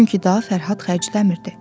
Çünki daha Fərhad xərcləmirdi.